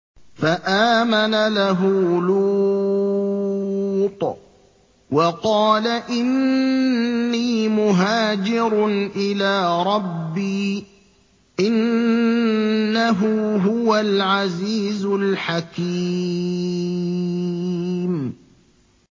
۞ فَآمَنَ لَهُ لُوطٌ ۘ وَقَالَ إِنِّي مُهَاجِرٌ إِلَىٰ رَبِّي ۖ إِنَّهُ هُوَ الْعَزِيزُ الْحَكِيمُ